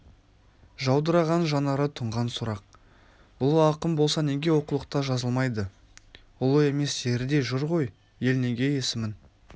жаудыраған жанары тұнған сұрақ ұлы ақын болса неге оқулықта жазылмайды ұлы еместері де жүр ғой ел неге есімін